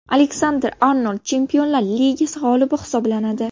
Aleksander-Arnold Chempionlar Ligasi g‘olibi hisoblanadi.